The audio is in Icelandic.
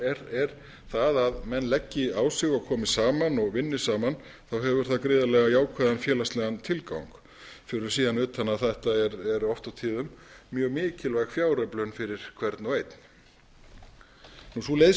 þá er það að menn leggi á sig og komi saman og vinni saman þá hefur það gríðarlega jákvæðan félagslegan tilgang fyrir síðan utan að þetta eru oft og tíðum mjög mikilvæg fjáröflun fyrir hvern og einn sú leið